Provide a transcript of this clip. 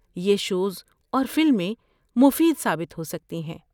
یہ شوز اور فلمیں مفید ثابت ہو سکتی ہیں۔